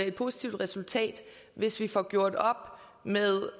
et positivt resultat hvis vi får gjort op med